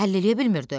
Həll eləyə bilmirdi.